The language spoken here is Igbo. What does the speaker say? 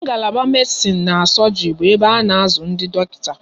Ngalaba Medisin na sọgri bụ ebe a na azụ ndị dọkịta